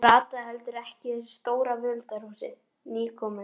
Rataði heldur ekki í þessu stóra völundarhúsi, nýkominn.